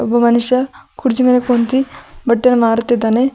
ಒಬ್ಬ ಮನುಷ್ಯ ಕುರ್ಚಿ ಮೇಲೆ ಕುಂತಿ ಬಟ್ಟೆಯನ್ನು ಮಾರುತಿದ್ದಾನೆ.